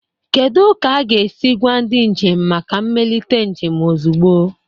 Kedu ka a ga-esi gwa ndị njem maka mmelite njem ozugbo?